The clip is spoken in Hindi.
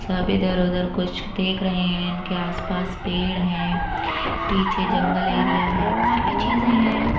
सब इधर उधर कुछ देख रहे हैं इनके आस पास पेड़ हैं पीछे जंगल एरिया है काफी चीज़े हैं ।